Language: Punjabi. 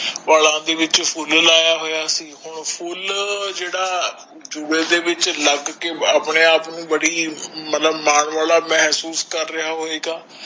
ਬਾਲਾ ਦੇ ਵਿਚ ਫੁੱਲ ਲਾਯਾ ਹੋਇਆ ਸੀ ਹੁਣ ਫੁੱਲ ਜੇੜਾ ਜੁੜੇ ਦੇ ਵਿਚ ਲਗ ਕੇ ਅਪਣੇ ਆਪ ਨੂੰ ਬੜੀ ਮਤਲਬ ਮਾਨ ਵਾਲਾ ਮਹਸੋਸ਼ ਕਰ ਰਿਹਾ ਹੋਏਗਾ